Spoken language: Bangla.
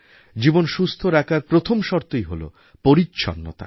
জীবন সুস্থ রাখার প্রথম শর্তই হল পরিচ্ছন্নতা